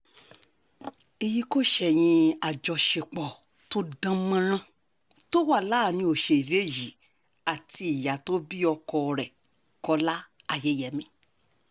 èyí kò ṣẹ̀yìn àjọṣepọ̀ tó dán mọ́rán tó wà láàrin òṣèré yìí àti ìyá tó bí ọkọ rẹ̀ kọ́lá ayẹyẹmí